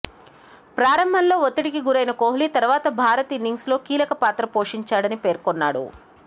ప్రారంభంలో ఒత్తిడికి గురైన కోహ్లీ తరువాత భారత్ ఇన్నింగ్స్లో కీలక పాత్ర పోషించాడని పేర్కొన్నాడు